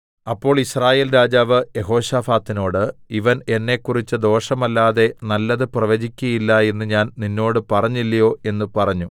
അപ്പോൾ യിസ്രായേൽ രാജാവ് യെഹോശാഫാത്തിനോട് ഇവൻ എന്നെക്കുറിച്ച് ദോഷമല്ലാതെ നല്ലത് പ്രവചിക്കയില്ല എന്ന് ഞാൻ നിന്നോട് പറഞ്ഞില്ലയോ എന്ന് പറഞ്ഞു